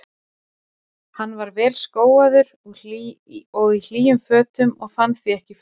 Hann var vel skóaður og í hlýjum fötum og fann því ekki fyrir kuldanum.